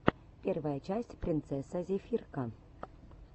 первая часть принцесса зефирка